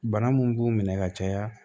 Bana mun b'u minɛ ka caya